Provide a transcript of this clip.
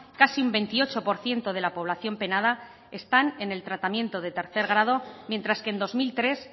casi en veintiocho por ciento de la población penada están en el tratamiento de tercer grado mientras que en dos mil tres